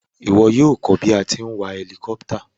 Ìwo yio ko bí a ti n wa helicopter